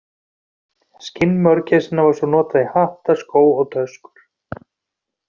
Skinn mörgæsanna var svo notað í hatta, skó og töskur.